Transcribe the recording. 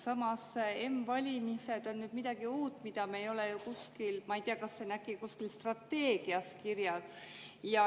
Samas, m‑valimised on midagi uut, mida me ei ole ju kuskil, ma ei tea, kas see on äkki kuskil strateegias kirjas.